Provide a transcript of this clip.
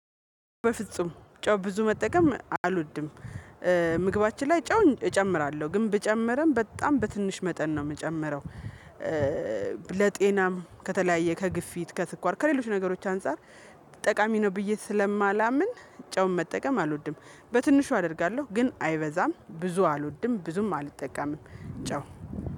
በፍጹም ጨው ብዙ መጠቀም አልወድም። ምግባችን ላይ ጨው እጨምራለሁ ግን ብጨምረን በጣም በትንሽ መጠን ነው የምጨምረው ለጤናም ከተለያየ ከግፊት ከትኳር ከሌሎች ነገሮች አንፃር ጠቃሚ ነው ብዬ ስለማላምን ጨውን መጠቀም አልወድም በትንሹ አደርጋለሁ ግን አይበዛም ብዙ አልወድም ብዙም አልጠቀምም ጨው።